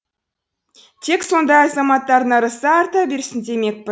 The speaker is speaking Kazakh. тек сондай азаматтардың ырысы арта берсін